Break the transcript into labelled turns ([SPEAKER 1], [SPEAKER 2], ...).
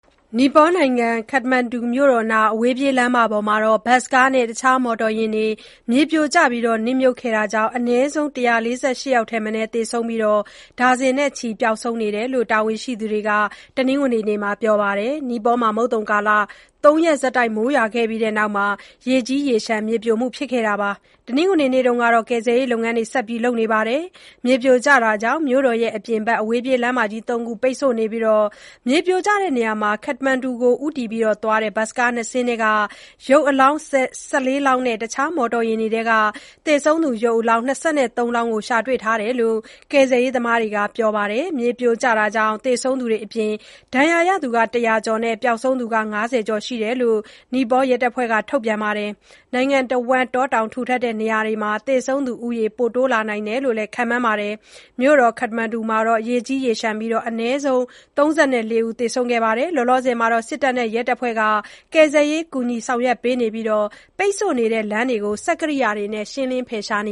[SPEAKER 1] နီပေါနိုင်ငံ ခတ္တမန္ဒူမြို့တော်နား အဝေးပြေးလမ်းမမှာ ဘတ်စ်ကားနဲ့ တခြားမော်တော်ယာဉ်တွေ မြေပြိုကျနစ်မြုပ်ခဲ့တာကြောင့် အနည်းဆုံး ၁၄၈ ယောက် ထက်မနည်းသေဆုံးပြီး ဒါဇင်နဲ့ချီပျောက်ဆုံးနေတယ်လို့ တာဝန်ရှိသူတွေက တနင်္ဂနွေနေ့ကပြောပါတယ်။ နီပေါမှာ မုတ်သုန်ကာလ ၃ ရက်ဆက်တိုက်မိုးရွာခဲ့ပြီးတဲ့နောက် ရေကြီး၊ရေလျှံ မြေပြိုခဲ့တာပါ။ တနင်္ဂနွေနေ့မှာတော့ ကယ်ဆယ်ရေးလုပ်ငန်းတွေ ဆက်ပြီးလုပ်နေတယ်လို့ ပြောပါတယ်။ မြေပြိုတာကြောင့် မြို့တော်အပြင်ဘက် အဝေးပြေးလမ်းမကြီး ၃ ခုပိတ်ဆို့နေပြီး မြေပြိုတဲ့နေရာမှာ ခတ္တမန္ဒူဘက်ကိုဦးတည်သွားတဲ့ ဘတ်စ်ကား ၂ စီးထဲက ရုပ်အလောင်း ၁၄ လောင်းနဲ့ နောက်တခြားမော်တော်ယာဉ်တွေထဲက သေဆုံးသူ ရုပ်အလောင်း ၂၃ လောင်းကိုရှာတွေ့ထားတယ်လို့ ကယ်ဆယ်ရေးသမားတွေကပြောပါတယ်။ မြေပြိုတာကြောင့် သေဆုံးသူတွေအပြင် ဒဏ်ရာရသူ ၁၀၀ ကျော်နဲ့ ပျောက်ဆုံးနေသူက ၅၀ ကျော်ရှိတယ်လို့ နီပေါရဲတပ်ဖွဲ့ထုတ်ပြန်ချက်မှာဖော်ပြပါတယ်။ နိုင်ငံတဝန်းတောတောင်ထူထပ်တဲ့ နေရာတွေမှာ သေဆုံးသူဦးရေပိုတိုးလာနိုင်တယ်လို့လည်း ခန့်မှန်းရပါတယ်။ မြို့တော်ခတ္တမန္ဒူမှာတော့ ရေကြီး၊ ရေလျှံပြီး အနည်းဆုံး ၃၄ ဦးသေဆုံးခဲ့ပါတယ်။ စစ်တပ်နဲ့ ရဲတပ်ဖွဲ့က ကယ်ဆယ်ရေးကူညီဆောင်ရွက်ပေးနေပြီး ပိတ်ဆို့နေတဲ့ လမ်းတွေကို စက်ကိရိယာတွေနဲ့ ရှင်းလင်းဖယ်ရှားပေးန